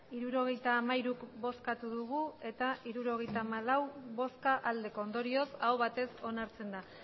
hirurogeita hamairu bai hirurogeita hamalau ondorioz aho batez onartzen da